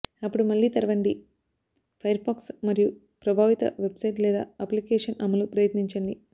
అప్పుడు మళ్లీ తెరవండి ఫైర్ఫాక్స్ మరియు ప్రభావిత వెబ్ సైట్ లేదా అప్లికేషన్ అమలు ప్రయత్నించండి